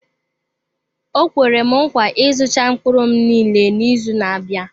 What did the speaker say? O kwere nkwa ịzụcha mkpụrụ m niile n'izu na-abịa.